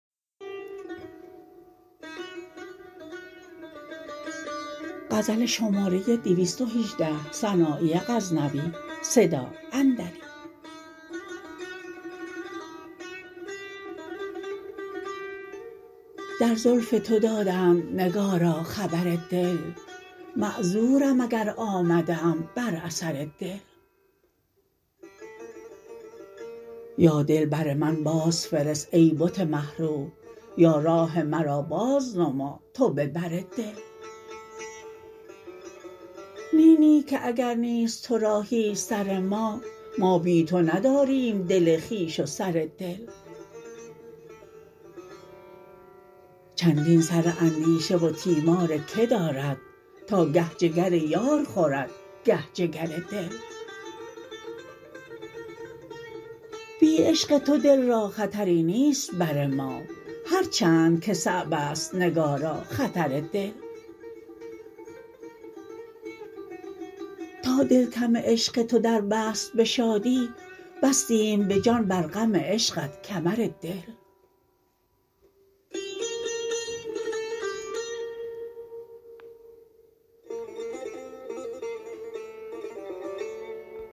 در زلف تو دادند نگارا خبر دل معذورم اگر آمده ام بر اثر دل یا دل بر من باز فرست ای بت مه رو یا راه مرا باز نما تو به بر دل نی نی که اگر نیست ترا هیچ سر ما ما بی تو نداریم دل خویش و سر دل چندین سر اندیشه و تیمار که دارد تا گه جگر یار خورد گه جگر دل بی عشق تو دل را خطری نیست بر ما هر چند که صعب ست نگارا خطر دل تا دل کم عشق تو در بست به شادی بستیم به جان بر غم عشقت کمر دل